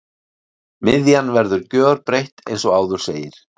Miðjan verður gjörbreytt eins og áður segir.